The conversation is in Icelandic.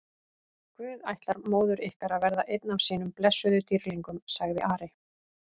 Guð ætlar móður ykkar að verða einn af sínum blessuðum dýrlingum, sagði Ari.